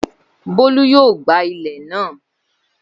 Bólú yóò gbá ilé náà